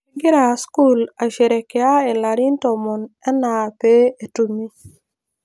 kegira skul aisherekea ilarin tomon enaa pee etumi